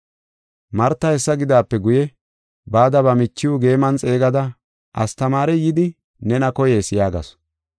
Marta hessa gidaape guye, bada ba michiw geeman xeegada, “Astamaarey yidi nena koyees” yaagasu.